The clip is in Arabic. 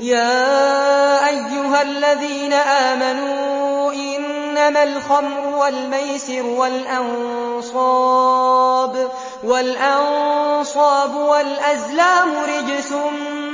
يَا أَيُّهَا الَّذِينَ آمَنُوا إِنَّمَا الْخَمْرُ وَالْمَيْسِرُ وَالْأَنصَابُ وَالْأَزْلَامُ رِجْسٌ